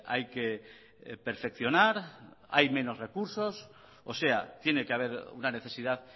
hay que perfeccionar hay menos recursos o sea tiene que haber una necesidad